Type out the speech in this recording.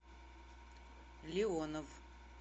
леонов